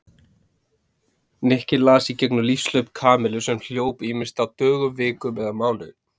Nikki las í gegnum lífshlaup Kamillu sem hljóp ýmist á dögum, vikum eða mánuðum.